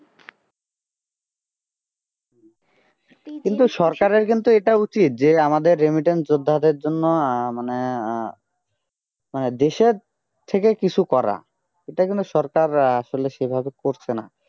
কিন্তু সরকারের কিন্তু এটা উচিত আমাদের remittance যোদ্ধাদের জন্য আহ মানে আহ মানে দেশের থেকে কিছু করা এটা কিন্তু সরকার আহ আসলে সেভাবে করছে না